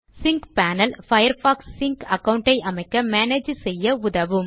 sync panel Firefox sync account ஐ அமைக்க manage செய்ய உதவும்